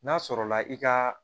N'a sɔrɔla i ka